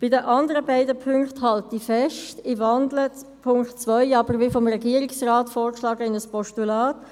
An den anderen beiden Punkten halte ich fest und wandle den Punkt 2 aber wie vom Regierungsrat vorgeschlagen in ein Postulat.